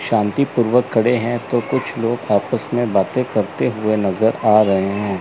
शांतिपूर्वक खड़े हैं तो कुछ लोग आपस में बातें करते हुए नजर आ रहे हैं।